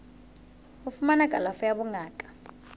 ho fumana kalafo ya bongaka